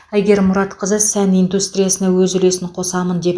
әйгерім мұратқызы сән индустриясына өз үлесін қосамын деп